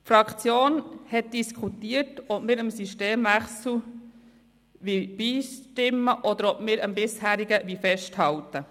Die Fraktion hat diskutiert, ob wir dem Systemwechsel zustimmen, oder ob wir am bisherigen System festhalten.